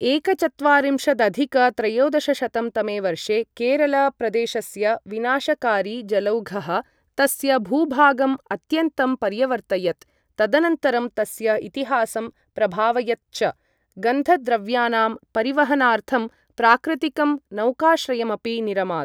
एकचत्वारिंशदधिक त्रयोदशशतं तमे वर्षे केरल प्रदेशस्य विनाशकारि जलौघः तस्य भूभागम् अत्यन्तं पर्यवर्तयत्, तदनन्तरं तस्य इतिहासं प्रभावयत् च। गन्धद्रव्यानां परिवहनार्थं प्राकृतिकं नौकाश्रयमपि निरमात्।